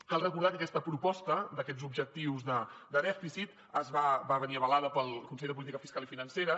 cal recordar que aquesta proposta d’aquests objectius de dèficit va venir avalada pel consell de política fiscal i financera